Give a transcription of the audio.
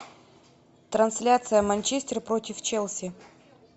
трансляция манчестер против челси